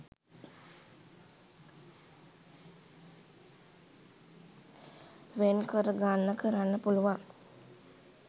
වෙන්කරගන්න කරන්න පුළුවන්.